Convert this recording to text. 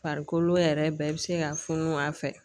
Farikolo yɛrɛ bɛɛ bɛ se ka funu a fɛ